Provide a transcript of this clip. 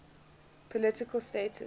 political status